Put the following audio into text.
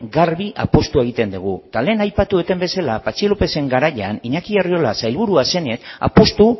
garbi apustua egiten dugu eta lehen aipatu dudan bezala patxi lópezen garaian iñaki arriola sailburua zenez apustu